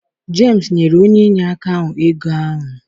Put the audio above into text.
Jemsi nyere onye inyeaka ahụ ego ahụ.